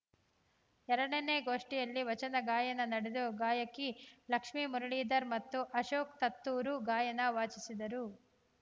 ಎರಡನೇ ಗೋಷ್ಠಿಯಲ್ಲಿ ವಚನ ಗಾಯನ ನಡೆದು ಗಾಯಕಿ ಲಕ್ಷ್ಮೇ ಮುರಳೀಧರ್‌ ಮತ್ತು ಅಶೋಕ್‌ ತತ್ತೂರು ಗಾಯನ ವಾಚಿಸಿದರು